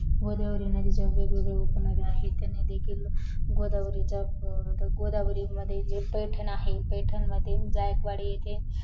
गोदावरी नदीच्या वेग वेगळ्या उप नद्या आहेत, त्यांना देखिल गोदावरीचा अह गोदावरी मधे जे पैठण आहे पैठण येथे जायकवडी येथे